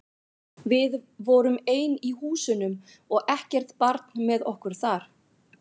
Við vorum ein í húsunum og ekkert barn með okkur þar.